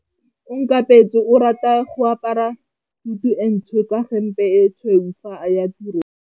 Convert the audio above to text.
Onkabetse o rata go apara sutu e ntsho ka hempe e tshweu fa a ya tirong.